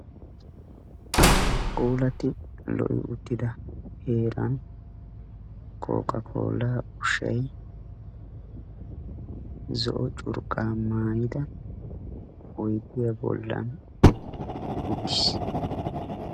puulattidi lo'i uttida heerani kokakkolla ushshay zo"o curqqa maayida oydiyaa bollani uttisi.